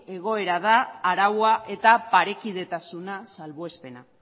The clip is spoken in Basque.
egoera da araua eta parekidetasuna salbuespena